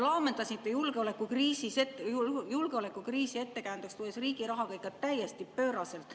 Laamendasite julgeolekukriisi ettekäändeks tuues riigi rahaga ikka täiesti pööraselt.